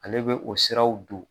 Ale bɛ o siraw don